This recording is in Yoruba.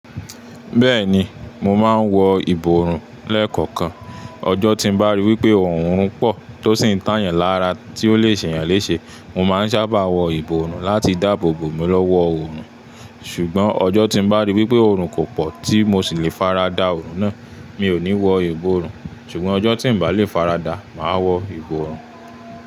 Bẹ́ẹ̀ni, mo máa ń wọ ìborùn lẹ́ẹ̀kọ̀kan. Ọjọ́ tín bá ríi wípé òórùn pọ̀ tó sì ń tà yàn lára tí ó lè ṣe yàn léèṣé, mo máa ń sábà wọ ìborùn láti dáàbò bo mi lọ́wọ́ òórùn. Ṣùgbọ́n ọjọ́ tín bá ríi wípé òórùn kò pọ̀ tí mo sì lè faradà òórùn náà, mi ò ní wọ ìborùn. Ṣùgbọ́n ọjọ́ tí ń bà lé faradà, màá wọ ìborùn.